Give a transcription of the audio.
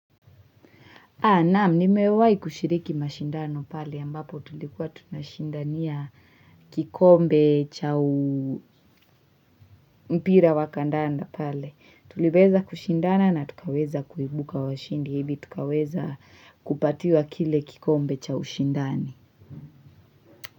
Naam, nimewahi kushiriki mashindano pale ambapo tulikuwa tunashindania kikombe cha mpira wakandanda pale. Tulibeza kushindana na tukaweza kuibuka washindi. Ili tukaweza kupatiwa kile kikombe cha ushindani.